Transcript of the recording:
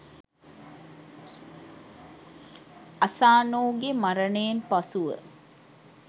Asano ගෙ මරණයෙන් පසුව